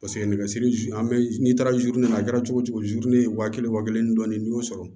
Paseke nɛgɛsiri an bɛ n'i taara na a kɛra cogo cogo ye wa kelen wa kelen ni dɔɔnin n'i y'o sɔrɔ